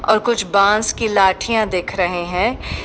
और कुछ बांस की लाठियां दिख रहे हैं।